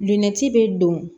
Una ci bɛ don